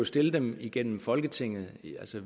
stille dem igennem folketinget